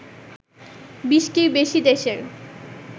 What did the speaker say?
২০টির বেশি দেশের